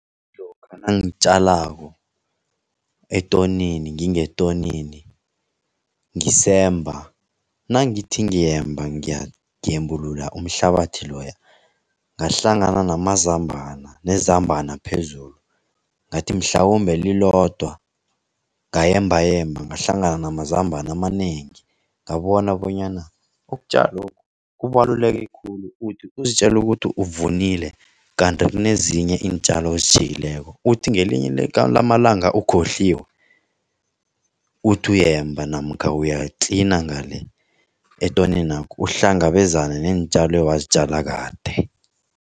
Lokha nangitjalako etonini, ngingetonini ngisemba nangithi ngiyemba ngembulula umhlabathi loya ngahlangana nezambana phezulu, ngathi mhlawumbe lilodwa. Ngayembayemba ngahlangana namazambane amanengi, ngabona bonyana ukutjalokhu kubaluleke khulu. Uthi uzitjela ukuthi uvunile kanti kunezinye iintjalo ozitjhiyileko, uthi ngelinye lamalanga ukhohliwe, uthi uyemba namkha uyatlina ngale etoninakho uhlangabezana neentjalo owazitjala kade.